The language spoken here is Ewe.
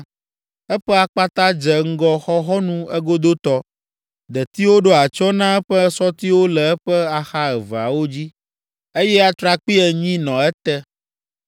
Eƒe akpata dze ŋgɔ xɔxɔnu egodotɔ, detiwo ɖo atsyɔ̃ na eƒe sɔtiwo le eƒe axa eveawo dzi, eye atrakpui enyi nɔ ete.